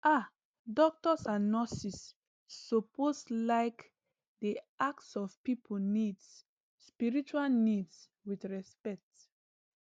ah doctors and nurses suppose like dey ask of people needs spiritual needs with respect